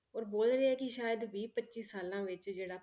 ਔਰ ਬੋਲ ਰਹੇ ਆ ਕਿ ਸ਼ਾਇਦ ਵੀਹ ਪੱਚੀ ਸਾਲਾਂ ਵਿੱਚ ਜਿਹੜਾ